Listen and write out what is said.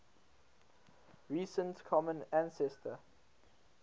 recent common ancestor